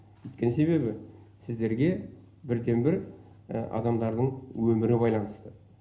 өйткені себебі сіздерге бірден бір адамдардың өмірі байланысты